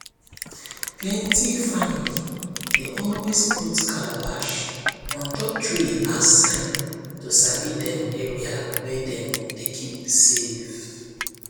plenty family dey always put calabash on top tree as sign to sabi dem area wey dem dey keep safe